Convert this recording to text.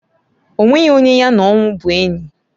Onweghi onye ya na onwu bu enyi.